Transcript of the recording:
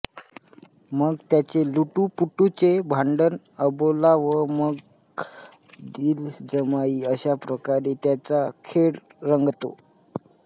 मग त्यांचे लुटुपुटुचे भांडण अबोला व मग दिलजमाई अश्या प्रकारे त्यांचा खेळ रंगतो